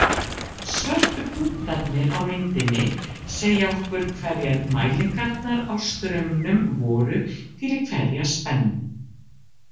Svörtu punktarnir á myndinni segja okkur hverjar mælingarnar á straumnum voru fyrir hverja spennu.